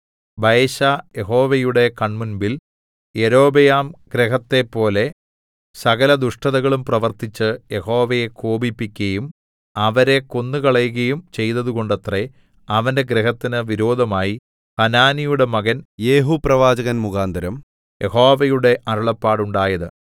ബയെശാ യഹോവയുടെ കൺമുൻപിൽ യൊരോബെയാംഗൃഹത്തെപ്പോലെ സകല ദുഷ്ടതകളും പ്രവൃത്തിച്ച് യഹോവയെ കോപിപ്പിക്കയും അവരെ കൊന്നുകളകയും ചെയ്തതുകൊണ്ടത്രേ അവന്റെ ഗൃഹത്തിന് വിരോധമായി ഹനാനിയുടെ മകൻ യേഹൂപ്രവാചകൻ മുഖാന്തരം യഹോവയുടെ അരുളപ്പാടുണ്ടായത്